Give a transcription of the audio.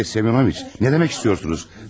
Andrey Semyonoviç, nə demək istəyirsiniz?